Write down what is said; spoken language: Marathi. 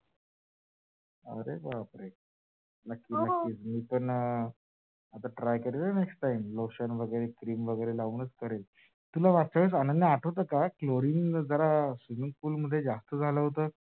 अरे बापरे नक्की नक्की मी पण आता करेल next time, lotion वगैरे, cream वगैरे लावूनच करेल. तुला अनन्या मागच्या वेळेस आठवत का? Clorine जरा swimming pool मध्ये जास्त झाल होत?